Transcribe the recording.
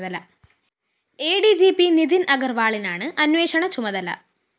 അ D G P Nitin‍ അഗര്‍വാളിനാണ് അന്വേഷണ ചുമതല